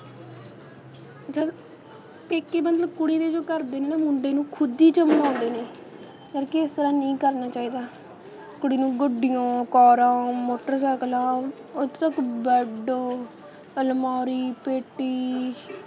ਪੇਕੇ ਮਤਲਬ ਕੁੜੀ ਦੇ ਜੋ ਘਰਦੇ ਨੇ ਨਾ ਮੁੰਡੇ ਨੂੰ ਖੁਦ ਈ ਚਮਲਾਉਂਦੇ ਨੇ, ਕਰਕੇ ਇਸ ਤਰ੍ਹਾਂ ਨਹੀਂ ਕਰਨਾ ਚਾਹੀਦਾ ਕੁੜੀ ਨੂੰ ਗੱਡੀਆਂ ਕਾਰਾਂ ਮੋਟਰਸਾਈਕਲਾਂ ਇੱਥੋਂ ਤੱਕ bed ਅਲਮਾਰੀ ਪੇਟੀ